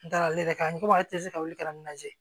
N dara ale yɛrɛ kan n ko ale tɛ se ka wuli ka ne lajɛ